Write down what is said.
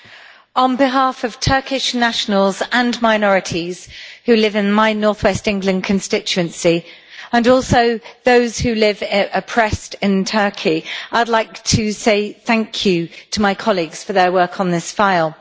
Mr President, on behalf of Turkish nationals and minorities who live in my North West England constituency, and also those who live oppressed in Turkey, I would like to say thank you to my colleagues for their work on this file.